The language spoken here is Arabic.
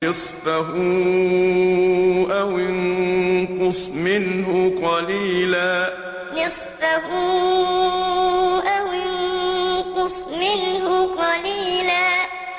نِّصْفَهُ أَوِ انقُصْ مِنْهُ قَلِيلًا نِّصْفَهُ أَوِ انقُصْ مِنْهُ قَلِيلًا